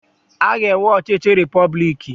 A ga-enwe ọchịchị repọblik.